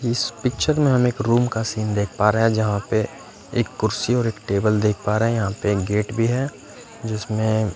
इस पिक्चर में हम एक रुम का सीन देख पा रहे हैं जहाँ पे एक कुर्सी और एक टेबल देख पा रहे हैं यहाँ पे एक गेट भी है जिसमें --